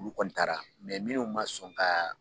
Olu kɔni taara munnu ma sɔn ka